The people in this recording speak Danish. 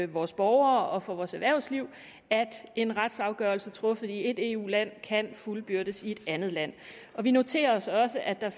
vores borgere og for vores erhvervsliv at en retsafgørelse truffet i et eu land kan fuldbyrdes i et andet land vi noterer os også at der